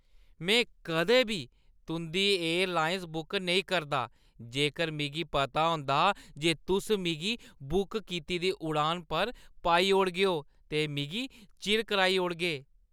मैं कदें बी तुंʼदी एयरलाइंस बुक नेईं करदा जेकर मिगी पता होंदा जे तुस मिगी मती बुक कीती दी उड़ान पर पाई ओड़गेओ ते मिगी चिर कराई ओड़गे।